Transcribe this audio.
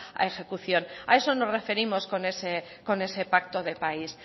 a ejecución a eso nos referimos con ese pacto de país